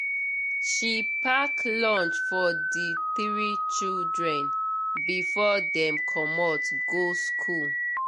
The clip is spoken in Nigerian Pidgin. she pack lunch for the three children before dem commot go school